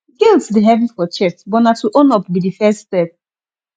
guilt dey heavy for chest but na to own up be the first step